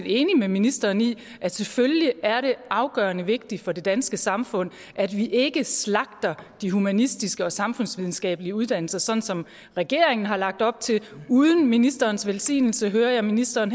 enig med ministeren i at selvfølgelig er det afgørende vigtigt for det danske samfund at vi ikke slagter de humanistiske og samfundsvidenskabelige uddannelser sådan som regeringen har lagt op til uden ministerens velsignelse hører jeg ministeren